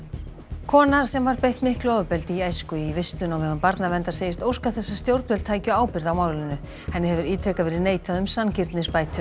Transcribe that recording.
kona sem var beitt miklu ofbeldi í æsku í vistun á vegum barnaverndar segist óska þess að stjórnvöld tækju ábyrgð á málinu henni hefur ítrekað verið neitað um sanngirnisbætur